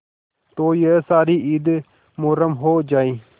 तो यह सारी ईद मुहर्रम हो जाए